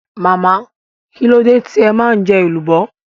Màámi, kílódé tí ẹ ma jọ èlùbọ́?